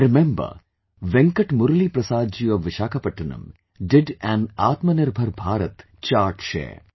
I remember, Venkat Murali Prasad ji of Visakhapatnam did an Atmanirbhar Bharat Chart Share